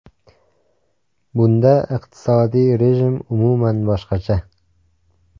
Bunda iqtisodiy rejim umuman boshqacha.